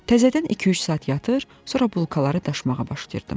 Təzədən 2-3 saat yatır, sonra bulkaları daşımağa başlayırdım.